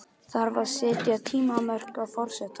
Þarf að setja tímamörk á forsetann?